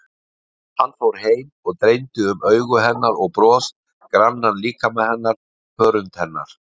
Hann fór heim og dreymdi um augu hennar og bros, grannan líkama hennar, hörund hennar.